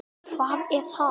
Hekla er einræn og dul.